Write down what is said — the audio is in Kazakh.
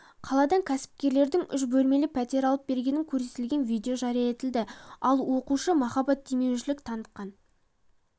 қаладан кәсіпкерлердің үш бөлмелі пәтер алып бергенін көрсететін видео жария етілді ал оқушы махаббатдемеушілік танытқан